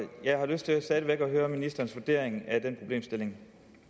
jeg har lyst til stadig væk at høre ministerens vurdering af den problemstilling